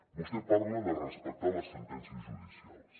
vostè parla de respectar les sentències judicials